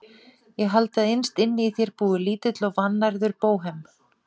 Ég haldi að innst inni í þér búi lítill og vannærður bóhem.